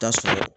Taa sɔrɔ